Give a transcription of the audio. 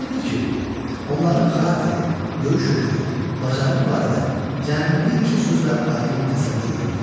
Maraqlıdır ki, onların xarakteri, döyüş hünəri, bacarığı barədə cəmi bir neçə sözlə aydın təsəvvür yaradılır.